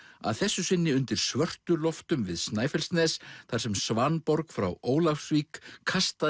að þessu sinni undir Svörtuloftum við Snæfellsnes þar sem Svanborg frá Ólafsvík kastaðist